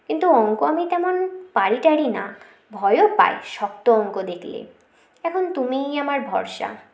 কিন্তু অঙ্ক আমি তেমন পারি টারি না ভয় ও পাই শক্ত অঙ্ক দেখলে এখন তুমিই আমার ভরসা